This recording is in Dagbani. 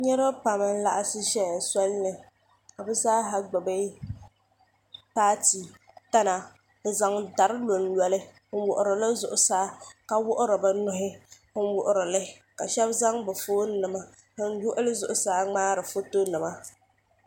Niriba pam n-laɣim ʒeya soli ni ka bɛ zaaha gbubi paati tana n-zaŋ dari lonlo li n-wuɣiri li zuɣusaa ka wuɣiri bɛ nuhi n-wuɣiri li shɛba zaŋ bɛ foonima n-wuɣi li zuɣusaa ŋmahiri fotonima.